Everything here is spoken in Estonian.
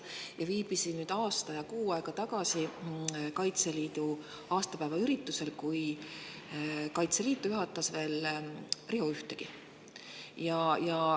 Ma viibisin aasta ja kuu aega tagasi Kaitseliidu aastapäeva üritusel, kui Kaitseliitu juhatas veel Riho Ühtegi.